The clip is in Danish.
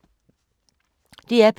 DR P2